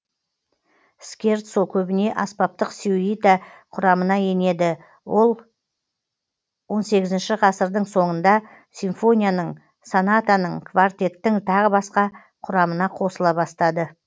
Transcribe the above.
скерцо көбіне аспаптық сюита құрамына енеді ал он сегізінші ғасырдың соңында симфонияның сонатаның квартеттің тағы басқа құрамына қосыла бастады